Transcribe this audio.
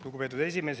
Lugupeetud esimees!